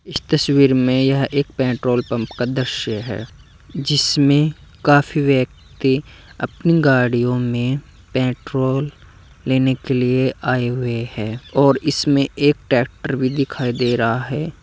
इस तस्वीर में यह एक पेट्रोल पंप का दृश्य है जिसमें काफी व्यक्ति अपनी गाड़ियों में पेट्रोल लेने के लिए आए हुए हैं और इसमें एक ट्रैक्टर भी दिखाई दे रहा है।